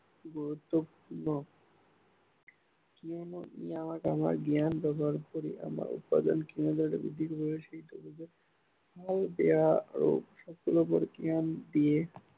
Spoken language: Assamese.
গুৰুত্বপূৰ্ণ। জীৱনৰ জ্ঞান তথা উপাৰ্জন ক্ষমতা বৃদ্ধি কৰি, ভাল বেয়া আদি সকলোবোৰ জ্ঞান দিয়ে